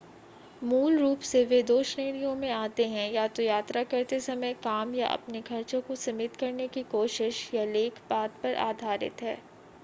मूल रूप से वे दो श्रेणियों में आते हैं या तो यात्रा करते समय काम या अपने खर्चो को सिमित करने की कोशिश यह लेख बाद पर आधारित है